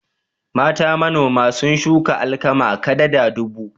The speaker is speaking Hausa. Mata manoma sun shuka alkama kadada dubu.